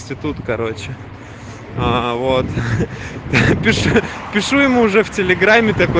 институт короче а вот пишу пишу ему же телеграмме